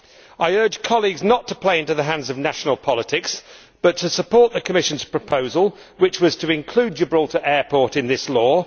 I urge colleagues not to play into the hands of national politics but to support the Commission's proposal, which was to include Gibraltar Airport in this law.